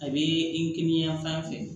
A bɛ ikiyanfan fɛ